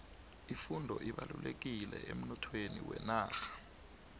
ifundo ibalulekile emnothweni wenarha